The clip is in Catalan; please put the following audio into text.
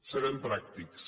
serem pràctics